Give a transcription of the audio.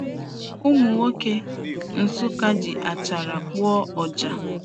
Ụmụ nwoke Nsukka ji achara kpụọ ọjà.